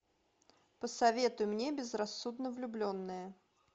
посоветуй мне безрассудно влюбленные